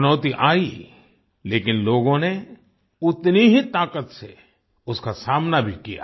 चुनौती आई लेकिन लोगों ने उतनी ही ताकत से उसका सामना भी किया